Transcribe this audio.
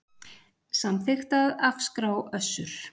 Samþykkt að afskrá Össur